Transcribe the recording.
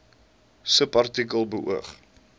subartikel beoog